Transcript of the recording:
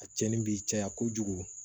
A cɛnni bi caya kojugu